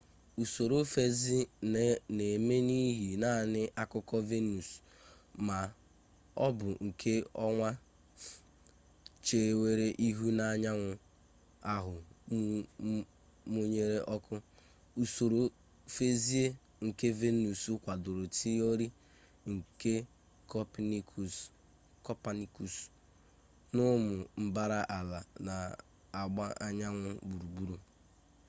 usoro feezi na-eme n’ihi naanị akụkụ venus ma ọ bụ nke ọnwa chewere ihu n’anyanwụ ahụ mụnyere ọkụ. usoro feezi nke venus kwadoro tiori nke copernicus na ụmụ mbara ala na-agba anyanwụ gburugburu